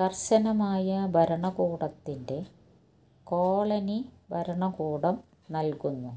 കർശനമായ ഭരണകൂടത്തിന്റെ കോളനി ഭരണകൂടം നൽകുന്നു